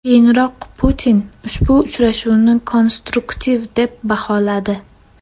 Keyinroq Putin ushbu uchrashuvni konstruktiv deb baholadi .